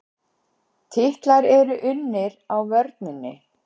Titlar eru unnir á vörninni.